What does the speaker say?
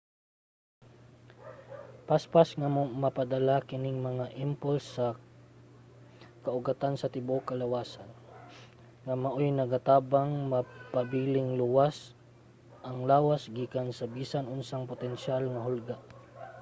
paspas nga mapadala kining mga impulse sa kaugatan sa tibuok kalawasan nga maoy nagatabang mapabiling luwas ang lawas gikan sa bisan unsang potensyal nga hulga